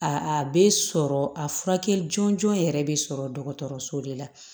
A bɛ sɔrɔ a furakɛli jɔnjɔn yɛrɛ bɛ sɔrɔ dɔgɔtɔrɔso de la